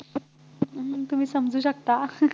तुम्ही समजू शकता